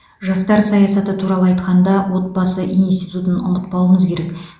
жастар саясаты туралы айтқанда отбасы институтын ұмытпауымыз керек